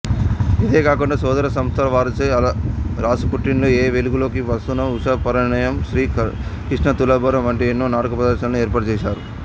ఇదే కాకుండా సోదర సంస్థలవారిచే అలరాసపుట్టిల్లు ఏ వెలుగులకీప్రస్థానం ఉషాపరిణయం శ్రీ కృష్ణతులాభారం వంటి ఎన్నో నాటక ప్రదర్శనలను ఏర్పాటుచేసారు